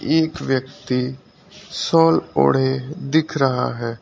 एक व्यक्ति शॉल ओढ़े दिख रहा है।